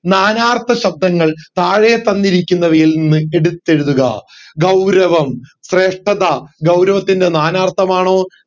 നാനാർത്ഥ ശബ്ദങ്ങൾ താഴെ തന്നിരിക്കുന്നവയിൽ നിന്ന് എടുത്തെഴുതുക ഗൗരവം ശ്രേഷ്ഠത ഗൗരവത്തിന്റെ നാനാർത്ഥം ആണോ